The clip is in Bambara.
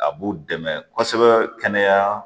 A b'u dɛmɛ kosɛbɛ kɛnɛya